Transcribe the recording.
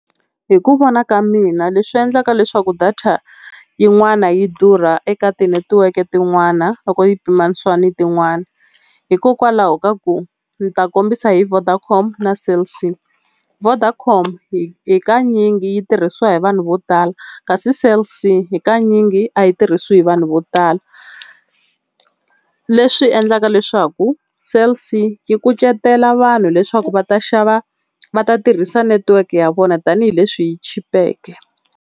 Hi ku vona ka mina leswi endlaka leswaku data yin'wana yi durha eka tinetiweke tin'wana loko yi pimanisiwa ni tin'wana, hikokwalaho ka ku ndzi ta kombisa hi Vodacom na Cell C. Vodacom hakanyingi yi tirhisiwa hi vanhu vo tala, kasi Cell C hakanyingi a yi tirhisiwi hi vanhu vo tala, leswi endlaka leswaku Cell C yi kucetela vanhu leswaku va ta xava va ta tirhisa netiweke ya vona tanihileswi yi chipeke.